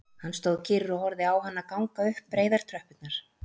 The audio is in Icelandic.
Hann stóð kyrr og horfði á hana ganga upp breiðar tröppurnar